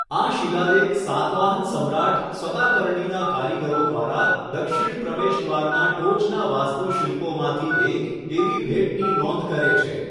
આ શિલાલેખ સાતવાહન સમ્રાટ સતાકર્ણીના કારીગરો દ્વારા દક્ષિણ પ્રવેશદ્વારના ટોચના વાસ્તુશિલ્પોમાંથી એક એવી ભેટની નોંધ કરે છે.